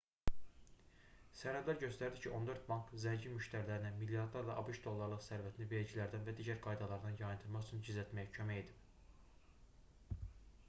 sənədlər göstərdi ki 14 bank zəngin müştərilərinə milyardlarla abş dollarlıq sərvətini vergilərdən və digər qaydalardan yayındırmaq üçün gizlətməyə kömək edib